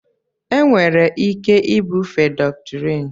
enwere ike ibufe dọktrịn